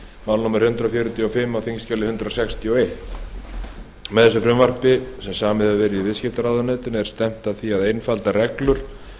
mál númer hundrað fjörutíu og fimm á þingskjali hundrað sextíu og eitt með þessu frumvarpi þessu sem samið hefur verið í viðskiptaráðuneytinu er stefnt að því að einfalda reglur